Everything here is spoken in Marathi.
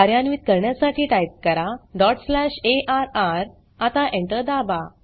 कार्यान्वीत करण्यासाठी टाइप करा डॉट स्लॅश अर्र आता Enter दाबा